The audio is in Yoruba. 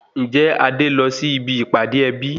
Ǹjẹ́ Adé lọ sí ibi ìpàdé ẹbí